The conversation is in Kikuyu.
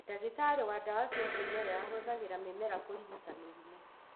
Ndagĩtarĩ wa ndawa cia kĩmerera ahũthĩraga mĩmera kũrigita mĩrimũ